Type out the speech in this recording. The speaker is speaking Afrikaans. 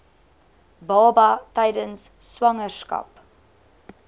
baba tydens swangerskap